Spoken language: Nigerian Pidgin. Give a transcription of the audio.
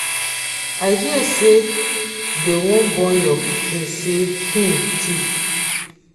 i hear say dey wan burn your pikin sey him thief.